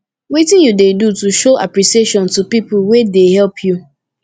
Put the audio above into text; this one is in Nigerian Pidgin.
wetin you dey do to show apppreciation to people wey dey help you